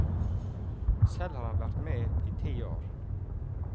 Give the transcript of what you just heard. Selv har han vært med i ti år.